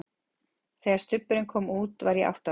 Þegar Stubburinn kom út var ég átta ára.